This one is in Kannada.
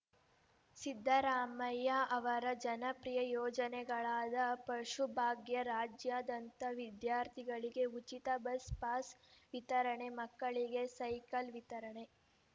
ಸಿದ್ದರಾಮಯ್ಯ ಅವರ ಜನಪ್ರಿಯ ಯೋಜನೆಗಳಾದ ಪಶುಭಾಗ್ಯ ರಾಜ್ಯಾದ್ಯಂತ ವಿದ್ಯಾರ್ಥಿಗಳಿಗೆ ಉಚಿತ ಬಸ್‌ ಪಾಸ್‌ ವಿತರಣೆ ಮಕ್ಕಳಿಗೆ ಸೈಕಲ್‌ ವಿತರಣೆ